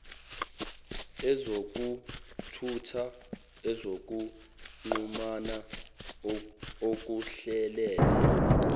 ezokuthutha ezokuxhumana ukuhlelela